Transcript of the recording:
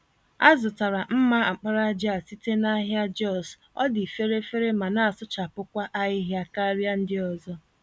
Azụtara mma àkpàràjà a site nahịa Jos, ọdị fèrè-fèrè ma nasụchapụkwa ahịhịa karịa ndị ọzọ.